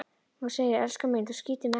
Hún segir: Elskan mín, þú skýtur mig ekki